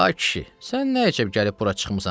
A kişi, sən nə əçib gəlib bura çıxmısan?